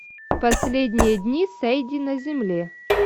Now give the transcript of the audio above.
последние дни сэйди на земле